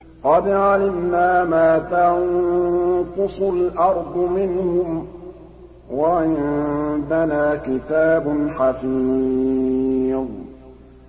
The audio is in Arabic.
قَدْ عَلِمْنَا مَا تَنقُصُ الْأَرْضُ مِنْهُمْ ۖ وَعِندَنَا كِتَابٌ حَفِيظٌ